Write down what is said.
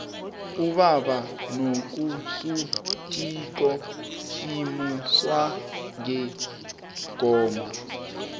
ubaba nakasuthiko simuzwa ngengoma